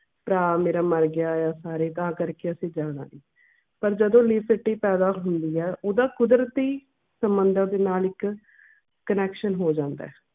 ਪ੍ਰਾ ਮੇਰਾ ਮਰ ਗਿਆ ਆ ਸਾਰੇ ਤਾਂ ਕਰਕੇ ਅਸੀਂ ਜਾਣਾ ਨੀ। ਪਰ ਜਦੋਂ ਪੈਦਾ ਹੁੰਦੀ ਐ ਓਹਦਾ ਕੁਦਰਤੀ ਸਮੁੰਦਰ ਦੇ ਨਾਲ ਇੱਕ connection ਹੋ ਜਾਂਦਾ ਐ